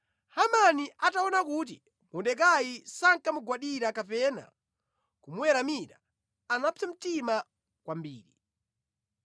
Hamani ataona kuti Mordekai sankamugwadira kapena kumuweramira, anapsa mtima kwambiri.